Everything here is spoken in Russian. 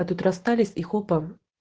а тут расстались и хопа